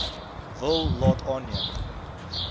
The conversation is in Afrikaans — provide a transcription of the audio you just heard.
wil laat aanneem